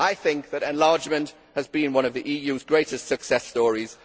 I think that enlargement has been one of the EU's great success stories.